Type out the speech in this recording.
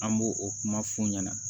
An b'o o kuma f'u ɲɛna